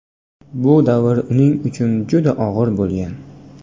Bu davrlar uning uchun juda og‘ir bo‘lgan.